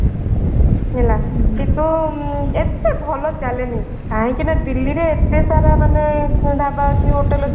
ହେଲା କିନ୍ତୁ ଏତେ ଭଲ ଚାଲେନି କାହିଁକି ନା ଦିଲ୍ଲୀରେ ଏତେ ସାରା ମାନେ ଢାବା ଅଛି hotel ଅଛି ତାଙ୍କ ଢାବା କୁ କାଇଁକି କିଏ ଯିବ